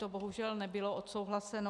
To bohužel nebylo odsouhlaseno.